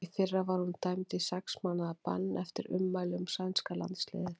Í fyrra var hún dæmd í sex mánaða bann eftir ummæli um sænska landsliðið.